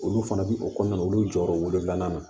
Olu fana bi o kɔnɔna olu jɔyɔrɔ wolonfilanan